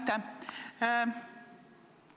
Aitäh!